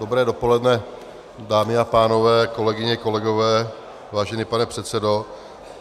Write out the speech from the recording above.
Dobré dopoledne, dámy a pánové, kolegyně, kolegové, vážený pane předsedo.